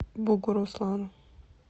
бугуруслану